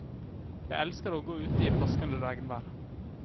Jeg elsker å gå ute i plaskende regnvær.